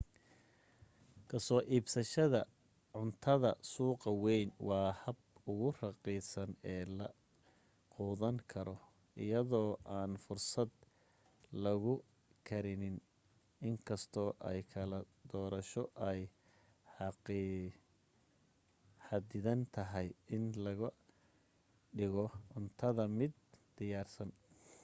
kasoo iibsashada cuntada suuqa weyn waa habka ugu raqiisan ee la quudan karo iyadoo aan fursad lagu karinin inkastoo ay kala dorasho ay xadidan tahay in laga dhigo cuntada-mid diyaarsan